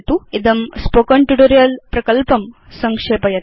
इदं spoken tutorial प्रकल्पं संक्षेपयति